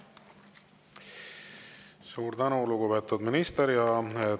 Suur tänu, lugupeetud minister!